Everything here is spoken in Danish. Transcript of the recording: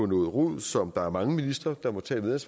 noget rod som der er mange ministre der må tage et